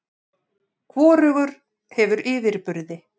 Hvorugur hefur yfirburði.